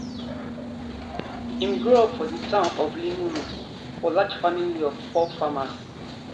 im grow up for di town of limuru for large family of poor farmers